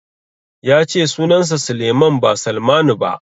Ya ce sunansa Sulaiman ba Salmanu ba.